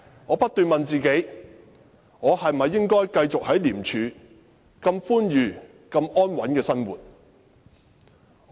我不斷問自己：我是否應該繼續在廉署如此寬裕和安穩地生活？